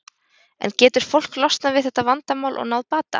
En getur fólk losnað við þetta vandamál og náð bata?